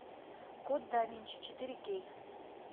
код да винчи четыре кей